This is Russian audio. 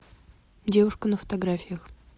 девушка на фотографиях